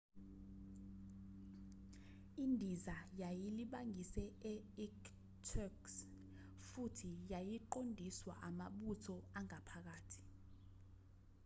indiza yayilibangise e-irkutsk futhi yayiqondiswa amabutho angaphakathi